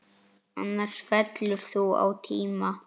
Annars fellur þú á tíma.